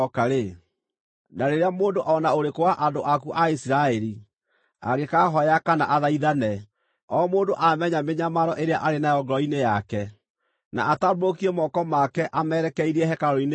na rĩrĩa mũndũ o na ũrĩkũ wa andũ aku a Isiraeli angĩkaahooya kana athaithane, o mũndũ aamenya mĩnyamaro ĩrĩa arĩ nayo ngoro-inĩ yake, na atambũrũkie moko make amerekeirie hekarũ-inĩ ĩno-rĩ,